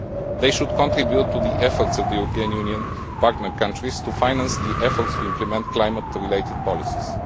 This should contribute to the efforts of the European Union partner countries to finance efforts to implement climate related policies.